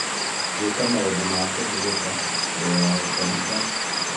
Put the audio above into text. Gwĩka maũndũ ma kũhurũka mbere ya gũkoma, ta